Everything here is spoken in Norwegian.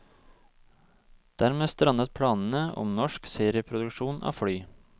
Dermed strandet planene om norsk serieproduksjon av fly.